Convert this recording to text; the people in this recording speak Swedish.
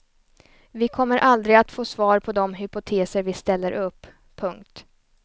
Vi kommer aldrig att få svar på de hypoteser vi ställer upp. punkt